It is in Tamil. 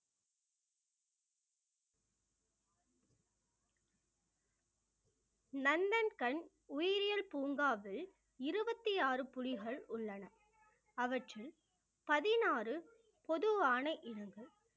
நந்தன்கண் உயிரியல் பூங்காவில் இருபத்தி ஆறு புலிகள் உள்ளன அவற்றில் பதினாறு பொதுவான